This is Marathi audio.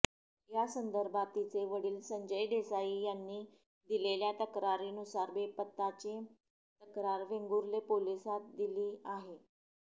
या संदर्भात तिचे वडील संजय देसाई यांनी दिलेल्या तक्रारीनुसार बेपत्ताची तक्रार वेंगुर्ले पोलिसांत दिली आहे